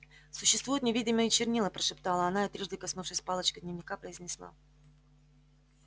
существуют невидимые чернила прошептала она и трижды коснувшись палочкой дневника произнесла